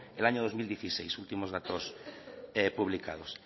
el año dos mil dieciséis últimos datos publicados